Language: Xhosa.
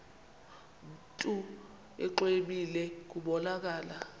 mntu exwebile kubonakala